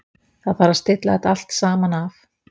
Það þarf að stilla þetta allt saman af.